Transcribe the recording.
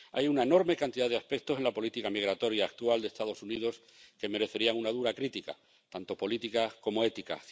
Hay una enorme cantidad de aspectos en la política migratoria actual de los Estados Unidos que merecerían una dura crítica, tanto política como ética.